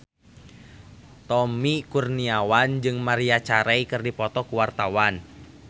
Tommy Kurniawan jeung Maria Carey keur dipoto ku wartawan